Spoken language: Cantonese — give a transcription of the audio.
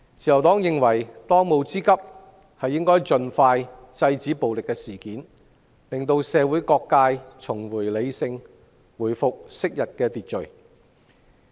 自由黨認為，當務之急是盡快制止暴力事件，讓社會各界重拾理性，回復昔日秩序。